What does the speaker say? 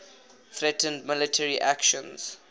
threatened military actions